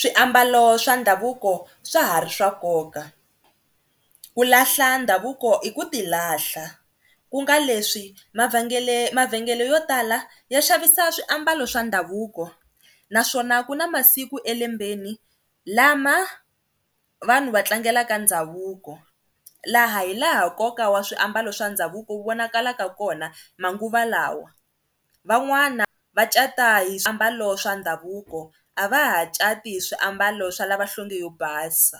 Swiambalo swa ndhavuko swa ha ri swa nkoka, ku lahla ndhavuko i ku ti lahla ku nga leswi mavhengele mavhengele yo tala ya xavisa swiambalo swa ndhavuko naswona ku na masiku elembeni lama vanhu va tlangelaka ndhavuko laha hi laha koka wa swiambalo swa ndhavuko wu vonakala ka kona manguva lawa. Van'wana va cata hi swiambalo swa ndhavuko a va ha cati hi swiambalo swa lava nhlonge yo basa